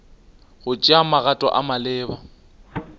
go tšea magato a maleba